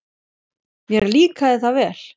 Mér líkaði það vel.